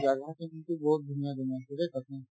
জাগা আছে কিন্তু বহুত ধুনীয়া ধুনীয়া আছে দেই তাতে